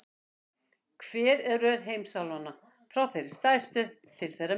Hver er röð heimsálfanna, frá þeirri stærstu til þeirrar minnstu?